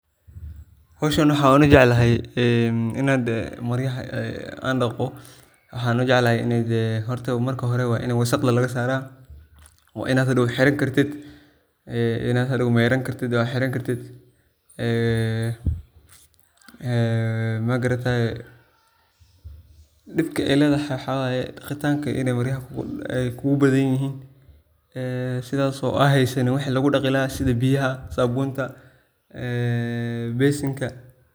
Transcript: Howshan aniga waxan u jeclaahy ,aniga horta marka hore waa ini wasaqda laga saraa, waa inaad hadow xiran kartid oo hadow meyraan kartid ee magarataye din aay ledahay waxa weye .Daqitanka ineey maryaha kugu badan yihin sidhaso aa heysanin wixi lagu daqii laha sidha biyaha, sabunta ee basinka.